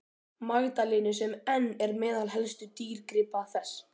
Magdalenu sem enn er meðal helstu dýrgripa þess.